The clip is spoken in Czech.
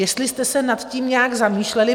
Jestli jste se nad tím nějak zamýšleli?